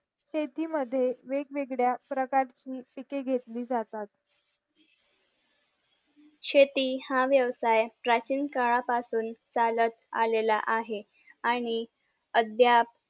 शेती मद्ये वेगवेगळ्या प्रकारची पीक घेतली जातात शेती हा व्यवसाय प्राचीन काळा पासून चालत आलेला आहे आणि अद्याप